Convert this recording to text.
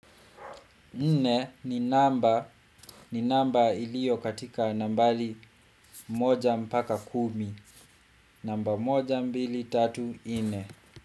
Nne ni namba ilio katika nambari moja mpaka kumi. Namba moja mbili tatu nne.